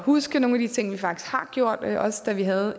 huske nogle af de ting vi faktisk har gjort også da vi havde